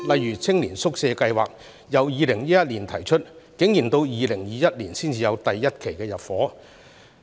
以青年宿舍計劃為例，早在2011年已經提出，但竟然到了2021年才第一期入伙。